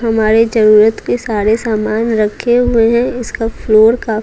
हमारे जरूरत के सारे सामान रखे हुए हैं इसका फ्लोर का--